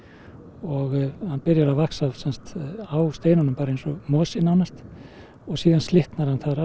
og hann byrjar að vaxa á steinunum eins og mosi nánast og svo slitnar hann þar